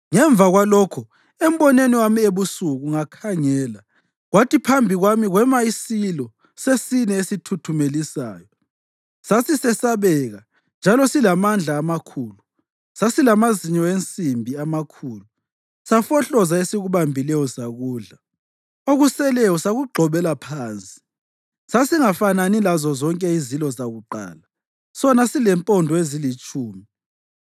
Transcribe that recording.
Ngemva kwalokho, embonweni wami ebusuku ngakhangela, kwathi phambi kwami kwema isilo sesine esithuthumelisayo, sisesabeka njalo silamandla amakhulu. Sasilamazinyo ensimbi amakhulu; safohloza esikubambileyo sakudla, okuseleyo sakugxobela phansi. Sasingafanani lazozonke izilo zakuqala, sona silempondo ezilitshumi.